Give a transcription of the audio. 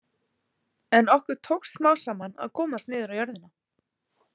En okkur tókst smám saman að komast niður á jörðina.